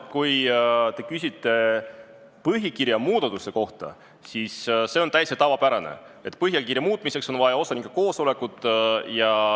Kui te küsite põhikirja muudatuse kohta, siis on täitsa tavapärane, et põhikirja muutmiseks on vaja osanike koosolekut.